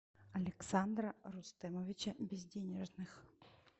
александра рустемовича безденежных